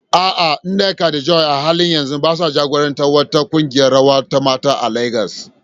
A'a, Nneka da Joy a halin yanzu ba sa jagorantar wata kungiyar rawa ta mata a Legas.